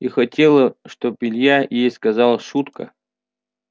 и хотела чтоб илья ей сказал шутка